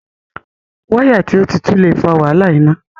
Wáyà tí o tí tú le fa wàhálà iná.